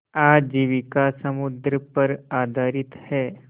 आजीविका समुद्र पर आधारित है